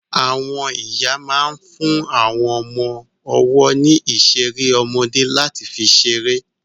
Àwọn ìyá máa ń fún àwọn ọmọ ọwọ́ ní ìṣeré ọmọdé láti fi ṣeré.